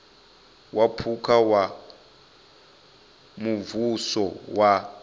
wa phukha wa muvhuso wa